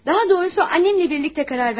Daha doğrusu anamla birlikdə qərar verdik.